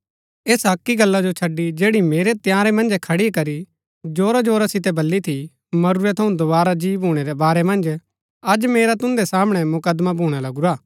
ऐसा अक्की गल्ला जो छड़ी जैड़ी मैंई तंयारै मंजे खड़ी करी जोरा जोरा सितै बली थी मरूरै थऊँ दोवारा जी भूणै रै बारै मन्ज अज मेरा तुन्दै सामणै मुकदमा भूणा लगुरा हा